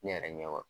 Ne yɛrɛ ɲɛ wa